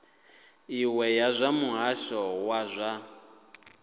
iṅwe ya muhasho wa zwa